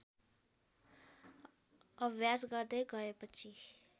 अभ्यास गर्दै गएपछि